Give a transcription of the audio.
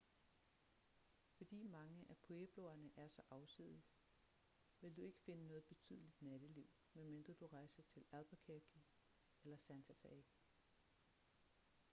fordi mange af puebloerne er så afsides vil du ikke finde noget betydeligt natteliv medmindre du rejser til albuquerque eller santa fe